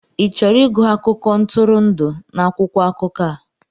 Ị chọrọ ịgụ akụkọ ntụrụndụ n'akwụkwọ akụkọ a?